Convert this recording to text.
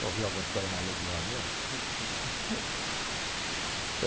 Já ouviu alguma história maluca igual a minha?